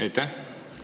Aitäh!